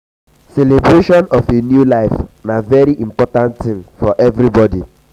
celebration of a new life na very important thing for for everybody